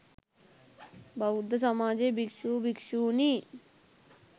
බෞද්ධ සමාජය භික්ෂු, භික්ෂුණී,